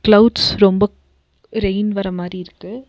Clouds ரொம்ப rain வர மாரி இருக்கு.